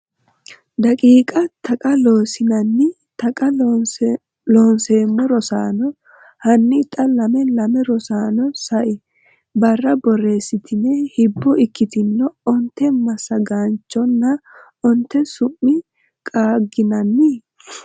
daqiiqa Taqa Loossinanni Taqa Loonseemmo Rosaano, hanni xa lame lame Rosaano, sai barra borreessitini hibbo ikkitine onte massagaanchonna onte su’mi qaagginanni?